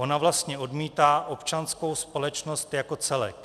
Ona vlastně odmítá občanskou společnost jako celek.